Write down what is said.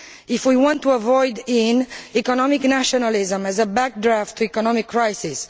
if we want to avoid economic nationalism as a backlash against economic crisis